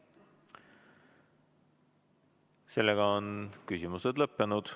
Sellega on küsimused lõppenud.